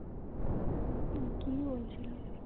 উম কি বলছিলো